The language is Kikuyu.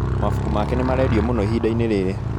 Mabuku make nĩmarendio mũno ihinda-inĩ rĩrĩ